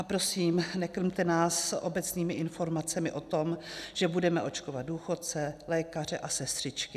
A prosím, nekrmte nás obecnými informacemi o tom, že budeme očkovat důchodce, lékaře a sestřičky.